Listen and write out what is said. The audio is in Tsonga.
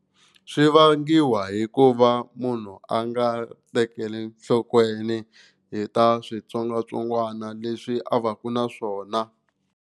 Swi vangiwa hikuva munhu a nga tekeli nhlokweni hi ta switsongwatsongwana leswi a va ka na swona.